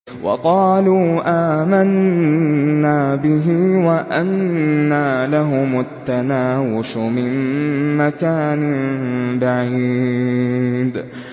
وَقَالُوا آمَنَّا بِهِ وَأَنَّىٰ لَهُمُ التَّنَاوُشُ مِن مَّكَانٍ بَعِيدٍ